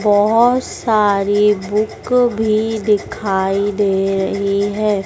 बहुत सारी बुक भी दिखाई दे रही है।